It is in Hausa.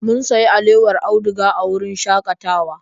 Mun sayi alewar auduga a wurin shakatawa.